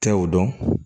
Tɛ o dɔn